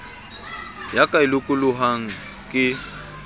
ya ka e lokolohang ke